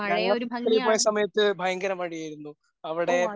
ഞങ്ങൾ വർക്കല പോയ സമയത്ത് ഭയങ്കര മഴയായിരുന്നു. അവിടെ